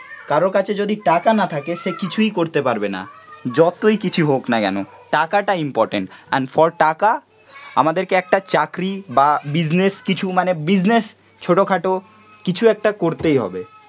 কারুর কাছে যদি টাকা না থাকে সে কিছুই করতে পারবে না, যতই কিছু হোক না কেন, টাকাটা ইম্পরট্যান্ট, এন্ড ফর টাকা আমাদেরকে একটা চাকরি বা বিজনেস কিছু মানে বিজনেস ছোটখাটো কিছু একটা করতেই হবে